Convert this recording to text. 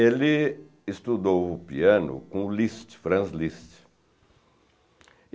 Ele estudou o piano com o Liszt, Franz Liszt.